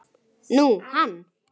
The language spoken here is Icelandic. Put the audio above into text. Nú, hann.